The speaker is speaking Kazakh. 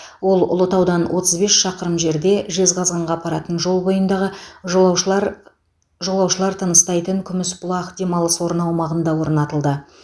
ол ұлытаудан отыз бес шақырым жерде жезқазғанға апаратын жол бойындағы жолаушылар жолаушылар тыныстайтын күмісбұлақ демалыс орны аумағында орнатылды